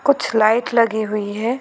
कुछ लाइट लगी हुई है।